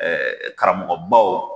karamɔgɔbaw